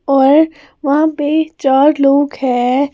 और वहाँ पे चार लोग हैं।